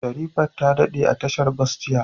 Sherifat ta dade a tashar bas jiya.